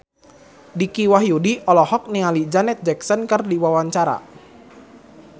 Dicky Wahyudi olohok ningali Janet Jackson keur diwawancara